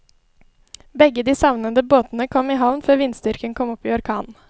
Begge de savnede båtene kom i havn før vindstyrken kom opp i orkan.